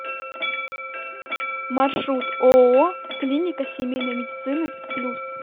маршрут ооо клиника семейной медицины плюс